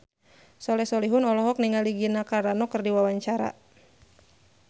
Soleh Solihun olohok ningali Gina Carano keur diwawancara